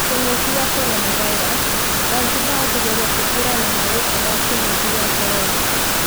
Kinguki kia Coronavirus :Zanzibar kũgeria kũhurana na gũũka kwa kĩngũki kĩa corona